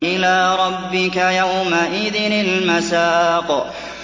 إِلَىٰ رَبِّكَ يَوْمَئِذٍ الْمَسَاقُ